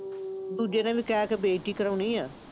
ਦੂਜੇ ਦਾ ਕਹਿ ਕੇ ਬੇਇੱਜ਼ਤੀ ਕਰਵਾਉਣੀ ਆ।